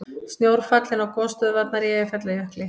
Snjór fallinn á gosstöðvarnar í Eyjafjallajökli